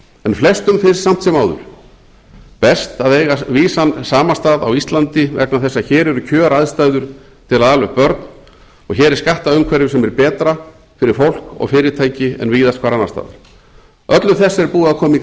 en flestum finnst samt sem áður best að eiga vísan samastað á íslandi vegna þess að hér eru kjöraðstæður til að ala upp börn og hér er skattaumhverfi sem er betra fyrir fólk og fyrirtæki en víðast hvar annars staðar öllu þessu er búið að koma í